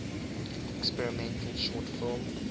experimental short film